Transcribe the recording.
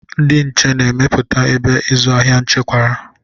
Ndị nche na-emepụta ebe ịzụ ahịa echekwara.